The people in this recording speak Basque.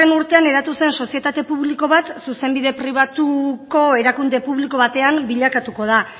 urtean eratu zen sozietate publiko bat zuzenbide pribatuko erakunde publiko batean bilakatuko da